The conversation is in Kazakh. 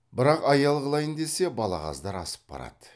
бірақ аял қылайын десе балағаздар асып барады